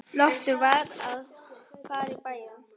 Loftur var að fara í bæinn.